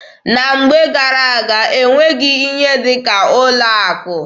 Na mgbe gara-aga, e nweghị ihe dị ka ụlọ akụ.